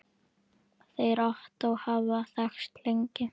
Þeir Ottó hafa þekkst lengi.